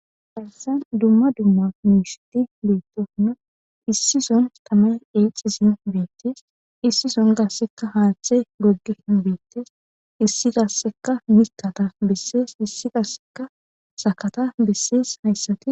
Hayssan dumma dumma muushiti beettono issi son tamay eexisin beettes. issison gassekka haaththe goggi hin beettees. issi dasseka mitata bessees issi daasseka sakata bessees hayssatti